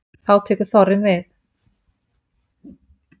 þá tekur þorrinn við